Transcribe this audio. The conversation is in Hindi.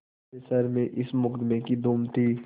सारे शहर में इस मुकदमें की धूम थी